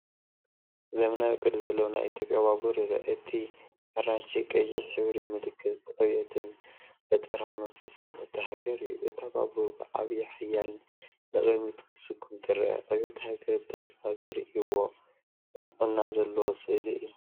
ዘመናዊ ቅዲ ዘለዎ ናይ ኢትዮጵያ ባቡር ይርአ። እቲ ኣራንሺን ቀይሕን ሕብሪ ምልክት ዕብየትን ፈጠራዊ መንፈስን እታ ሃገር እዩ። እታ ባቡር ብዓቢይ ሓይልን ንቕድሚት ክትስጉም ትረአ፤ ዕብየት ሃገር ብተስፋ ዝርእይዎ ቅንዕና ዘለዎ ስእሊ እዩ።